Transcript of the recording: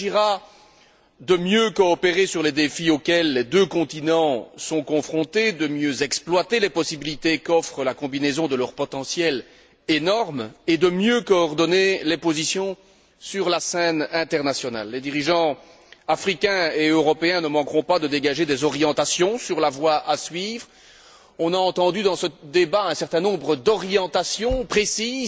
Il s'agira de mieux coopérer sur les défis auxquels les deux continents sont confrontés, de mieux exploiter les possibilités qu'offre la combinaison de leur potentiel énorme et de mieux coordonner les positions sur la scène internationale. Les dirigeants africains et européens ne manqueront pas de dégager des orientations sur la voie à suivre. On a entendu dans ce débat un certain nombre d'orientations précises